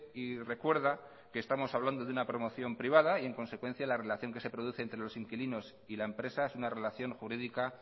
y recuerda que estamos hablando de una promoción privada y en consecuencia la relación que se produce entre los inquilinos y la empresa es una relación jurídica